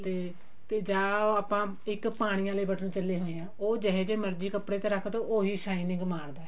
ਤੇ ਤੇ ਜਾਂ ਇੱਕ ਪਾਣੀ ਆਲੇ ਬਟਨ ਚੱਲੇ ਹੋਏ ਆ ਉਹ ਜਿਹੋ ਜਿਹੇ ਮਰਜੀ ਕੱਪੜੇ ਤੇ ਰੱਖਦੋ ਉਹੀ shining ਮਾਰਦਾ